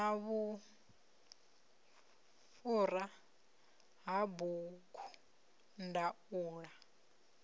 na vhufhura ha bugu ndaula